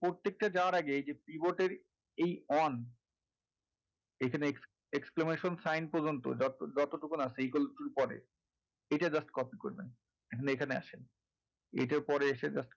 প্রত্যেকটা যাওয়ার আগে এই keyboard এর যে এই on এখানে exclaimation sign পর্যন্ত যত যতটুকুন আছে equals to র পরে এটা just copy করবেন এবার এখানে আসেন এটার পরে এসে just